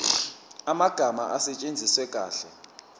amagama asetshenziswe kahle